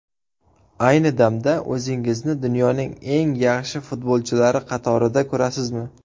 Ayni damda o‘zingizni dunyoning eng yaxshi futbolchilari qatorida ko‘rasizmi?